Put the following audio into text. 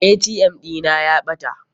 ATM ɗina ne ya ɓata.